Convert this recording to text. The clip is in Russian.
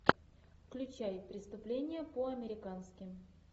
включай преступление по американски